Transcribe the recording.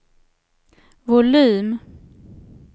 volym